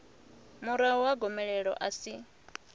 murahu ha gomelelo a si